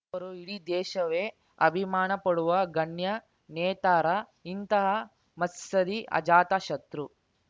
ಅವರು ಇಡೀ ದೇಶವೇ ಅಭಿಮಾನ ಪಡುವ ಗಣ್ಯ ನೇತಾರ ಇಂತಹ ಮತ್ಸದ್ಧಿ ಅಜಾತ ಶತ್ರು